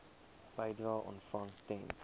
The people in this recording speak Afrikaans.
bedrae ontvang ten